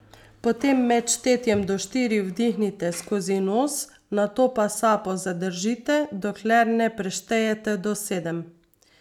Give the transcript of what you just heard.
Potem med štetjem do štiri vdihnite skozi nos, nato pa sapo zadržite dokler ne preštejete do sedem.